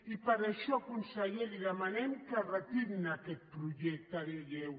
i per això conseller li demanem que retirin aquest projecte de llei